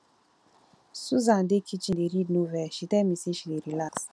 susan dey kitchen dey read novel she tell me say she dey relax